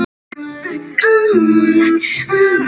Vinna þennan leik fyrir hann!